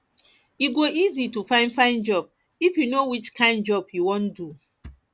e go easy to find find job if yu know which kain job yu wan do